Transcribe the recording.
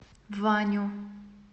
ваню